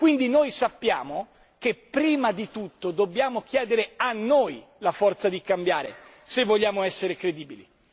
Quindi noi sappiamo che prima di tutto dobbiamo chiedere a noi la forza di cambiare se vogliamo essere credibili.